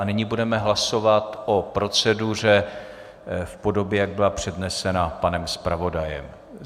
A nyní budeme hlasovat o proceduře v podobě, jak byla přednesena panem zpravodajem.